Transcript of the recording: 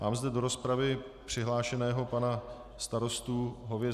Mám zde do rozpravy přihlášeného pana starostu Hověžáka.